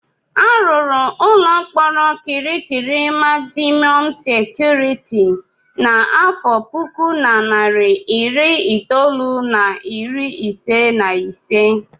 A rụrụ ụlọ mkpọrọ Kirikiri magzimọm sekuriti n'afọ puku na narị iri itolu na iri ise na ise.